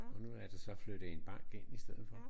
Og nu er der så flyttet en bank ind i stedet for